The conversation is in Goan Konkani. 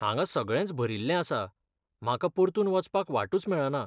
हांगा सगळेंच भरिल्लें आसा, म्हाका परतून वचपाक वाटूच मेळना.